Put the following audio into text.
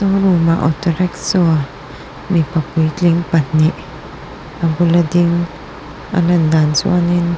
room ah auto rickshaw mipa puitling pahnih a bula ding a lan dan chuanin